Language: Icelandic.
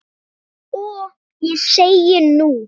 Og ég segi, nú?